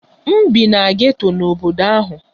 M bi na geto n'obodo ahụ.